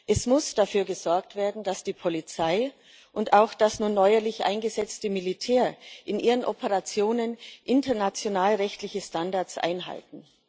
Es muss dafür gesorgt werden, dass die Polizei und auch das nun neuerlich eingesetzte Militär in ihren Operationen international rechtliche Standards einhalten.